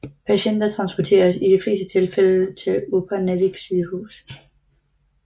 Patienter transporteres i de fleste tilfælde til Upernavik Sygehus